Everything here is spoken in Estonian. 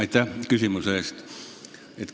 Aitäh küsimuse eest!